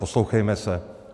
Poslouchejme se.